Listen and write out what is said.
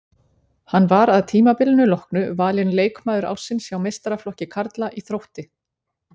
Hann var að tímabilinu loknu valinn leikmaður ársins hjá meistaraflokki karla í Þrótti.